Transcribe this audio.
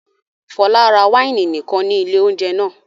Fọlá ra wáìnì nìkan ní ilé-oúnjẹ náà?